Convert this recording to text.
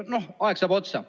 No aeg saab otsa.